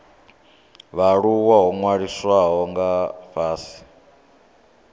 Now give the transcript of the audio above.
vhaaluwa ho ṅwalisiwaho nga fhasi